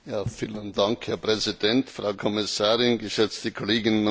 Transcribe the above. Herr Präsident, Frau Kommissarin, geschätzte Kolleginnen und Kollegen!